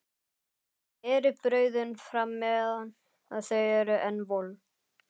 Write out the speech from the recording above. Berið brauðin fram meðan þau eru enn volg.